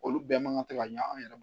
Olu bɛɛ man kan tɛ ka ɲɛ an yɛrɛ ma